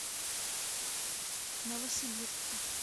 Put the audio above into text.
новосибирску